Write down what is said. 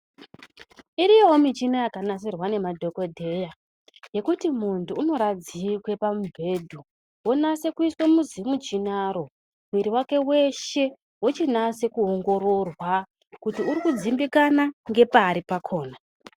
Iriyowo michini yakanasirwa nemadhokodheya yekuti muntu unoradzikwe pamubhedhu onasa kuiswa muzvimuchinaro mwiri wake weshe wochinasa kuongororwa kuti uri kudzimbikana ngepari pakhona.